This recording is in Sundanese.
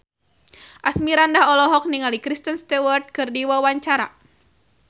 Asmirandah olohok ningali Kristen Stewart keur diwawancara